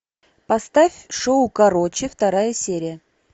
поставь шоу короче вторая серия